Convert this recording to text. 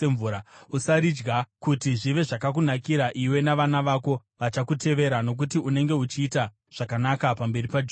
Usaridya, kuti zvive zvakakunakira iwe navana vako vachakutevera, nokuti unenge uchiita zvakanaka pamberi paJehovha.